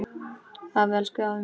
Afi, elsku afi minn.